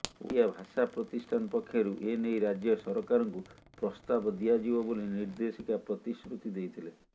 ଓଡ଼ିଆ ଭାଷା ପ୍ରତିଷ୍ଠାନ ପକ୍ଷରୁ ଏନେଇ ରାଜ୍ୟ ସରକାରଙ୍କୁ ପ୍ରସ୍ତାବ ଦିଆଯିବ ବୋଲି ନିର୍ଦେଶିକା ପ୍ରତିଶ୍ରୁତି ଦେଇଥିଲେ